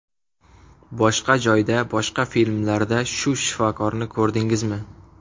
Boshqa joyda, boshqa filmlarda shu shifokorni ko‘rdingizmi?